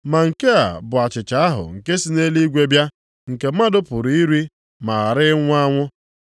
Ma nke a bụ achịcha ahụ nke si nʼeluigwe bịa, nke mmadụ pụrụ iri ma ghara ịnwụ anwụ.